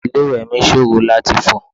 Ilé ìwẹ̀ mi ṣòro láti fọ̀.